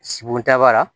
Sibodaba la